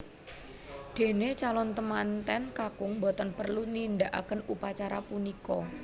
Dene calon temanten kakung boten perlu nindakaken upacara punika